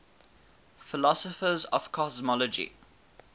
philosophers of cosmology